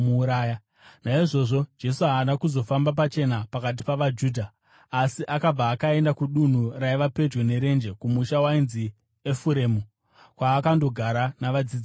Naizvozvo Jesu haana kuzofamba pachena pakati pavaJudha. Asi akabva akaenda kudunhu raiva pedyo nerenje, kumusha wainzi Efuremu, kwaakandogara navadzidzi vake.